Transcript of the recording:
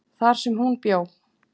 þar sem hún bjó.